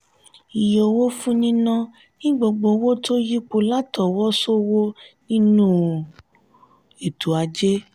iye owó fún níná ni gbogbo owó tó yípo lá'ọwọ ṣowo nínú ètò ajé.